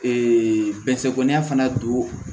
bɛnnɛsɛbana don